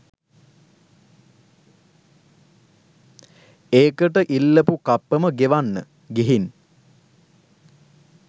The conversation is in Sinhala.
ඒකට ඉල්ලපු කප්පම ගෙවන්න. ගිහින් .